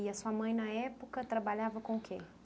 E a sua mãe, na época, trabalhava com o quê?